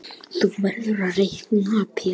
Þú verður að reikna Pétur.